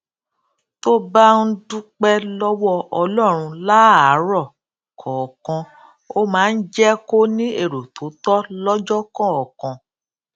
tó bá ń dúpé lówó ọlórun láàárò kòòkan ó máa ń jé kó ní èrò tó tó lójó kòòkan